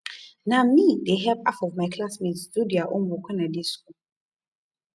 na me dey help half of my class mates do their homework wen i dey school